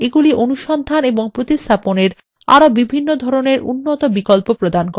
এগুলি অনুসন্ধান এবং প্রতিস্থাপনের আরো বিভিন্ন ধরনের উন্নত বিকল্প প্রদান করে